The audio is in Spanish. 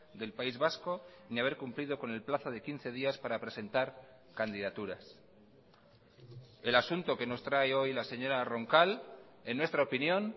del país vasco ni haber cumplido con el plazo de quince días para presentar candidaturas el asunto que nos trae hoy la señora roncal en nuestra opinión